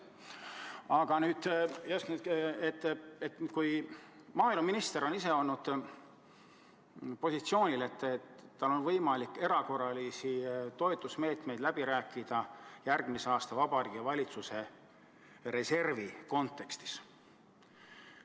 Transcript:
Aga maaeluminister on seni olnud positsioonil, et tal on võimalik erakorraliste toetusmeetmete üle läbi rääkida järgmise aasta Vabariigi Valitsuse reservi silmas pidades.